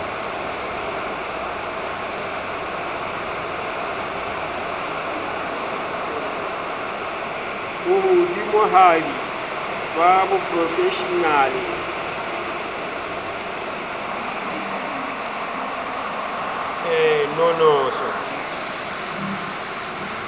bo hodimohadi ba boprofeshenale nonoso